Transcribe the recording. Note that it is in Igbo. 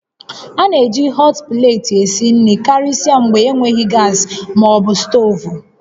A na-eji họt pleeti esi nri karịsịa mgbe enweghị gas ma ọ bụ stovu